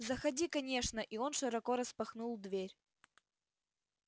заходи конечно и он широко распахнул дверь